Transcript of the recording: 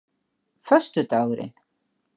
föstudagurinn